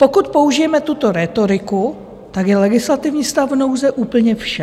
Pokud použijeme tuto rétoriku, tak je legislativní stav nouze úplně vše.